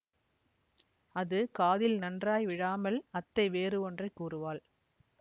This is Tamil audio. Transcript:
அது காதில் நன்றாய் விழாமல் அத்தை வேறு ஒன்றை கூறுவாள்